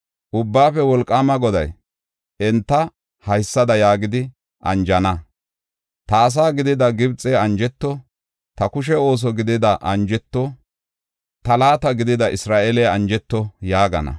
Ubbaafe Wolqaama Goday enta haysada yaagidi anjana: “Ta ase gidida Gibxey anjeto; ta kushe ooso gidida Assory anjeto; ta laata gidida Isra7eeley anjeto” yaagana.